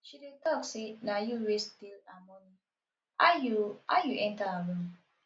she dey talk say na you wey steal her money how you how you enter her room